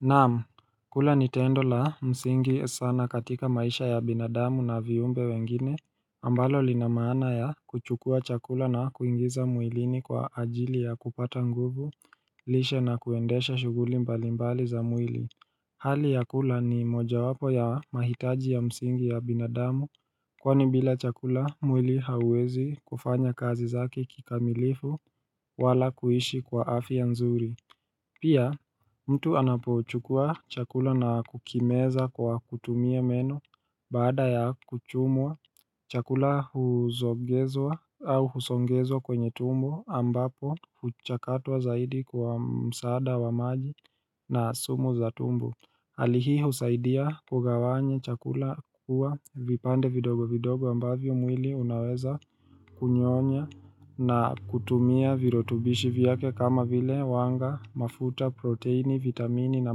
Naam, kula ni tendo la msingi sana katika maisha ya binadamu na viumbe wengine, ambalo lina maana ya kuchukua chakula na kuingiza mwilini kwa ajili ya kupata nguvu, lishe na kuendesha shuguli mbalimbali za mwili. Hali ya kula ni mojawapo ya mahitaji ya msingi ya binadamu, kwani bila chakula mwili hauezi kufanya kazi zake kikamilifu wala kuishi kwa afya nzuri. Pia, mtu anapochukua chakula na kukimeza kwa kutumia meno baada ya kuchumwa, chakula huzongezwa au husongezwa kwenye tumbo ambapo huchakatwa zaidi kwa msaada wa maji na sumu za tumbo. Hali hii husaidia kugawanya chakula kukua vipande vidogo vidogo ambavyo mwili unaweza kunyonya na kutumia virotubishi viyake kama vile wanga, mafuta proteini, vitamini na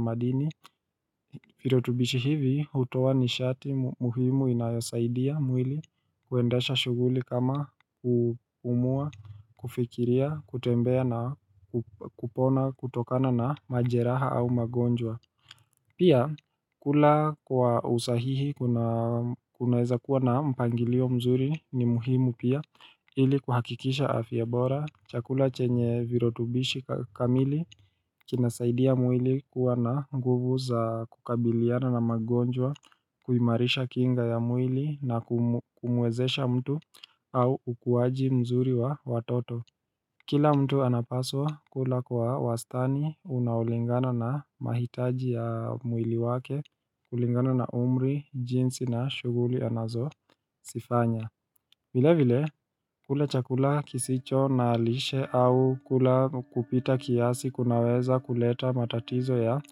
madini Virotubishi hivi hutowa nishati muhimu inayosaidia mwili kuendasha shughuli kama kupumua, kufikiria kutembea na kupona kutokana na majeraha au magonjwa Pia kula kwa usahihi kuna kuna weza kuwa na mpangilio mzuri ni muhimu pia ili kuhakikisha afya bora chakula chenye virotubishi kamili kinasaidia mwili kuwa na nguvu za kukabiliana na magonjwa, kuimarisha kinga ya mwili na kumuwezesha mtu au ukuwaji mzuri wa watoto. Kila mtu anapaswa kula kwa wastani unaolingana na mahitaji ya mwili wake, kulingana na umri, jinsi na shughuli anazozifanya vile vile, kula chakula kisicho na lishe au kula kwa kupita kiasi kunaweza kuleta matatizo ya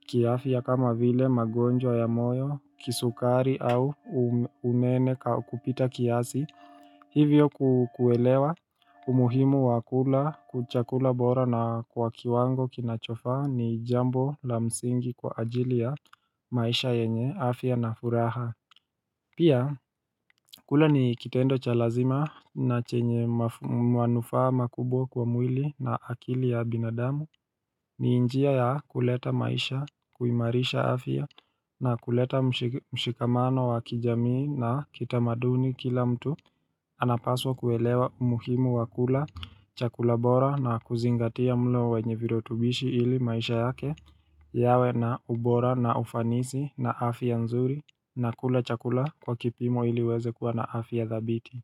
kiafya kama vile magonjwa ya moyo, kisukari au unene kupita kiasi Hivyo kuelewa umuhimu wa kula chakula bora na kwa kiwango kinachofa ni jambo la msingi kwa ajili ya maisha yenye afya na furaha Pia, kula ni kitendo cha lazima na chenye manufaa makubwa kwa mwili na akili ya binadamu ni injia ya kuleta maisha, kuimarisha afya na kuleta mshikamano wa kijamii na kitamaduni kila mtu anapaswa kuelewa umuhimu wakula chakula bora na kuzingatia mlo wenye virotubishi ili maisha yake yawe na ubora na ufanisi na afya ya nzuri na kula chakula kwa kipimo ili uweze kuwa na afya dhabiti.